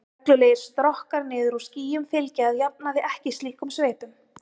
Reglulegir strokkar niður úr skýjum fylgja að jafnaði ekki slíkum sveipum.